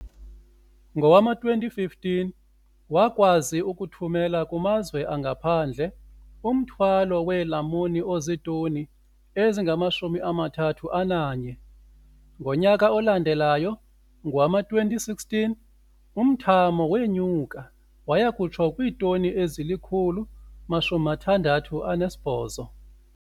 Ngowama-2015, wakwazi ukuthumela kumazwe angaphandle umthwalo weelamuni ozitoni ezingama-31. Ngonyaka olandelayo, ngowama-2016, umthamo wenyuka waya kutsho kwiitoni ezili-168.